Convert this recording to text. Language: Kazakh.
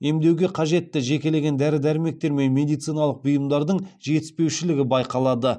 емдеуге қажетті жекелеген дәрі дәрмектер мен медициналық бұйымдардың жетіспеушілігі байқалады